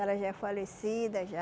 Ela já é falecida, já.